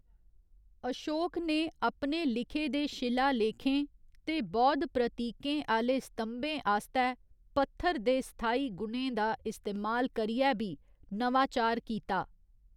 अशोक ने अपने लिखे दे शिलालेखें ते बौद्ध प्रतीकें आह्‌‌‌ले स्तंभें आस्तै पत्थर दे स्थाई गुणें दा इस्तेमाल करियै बी नवाचार कीता।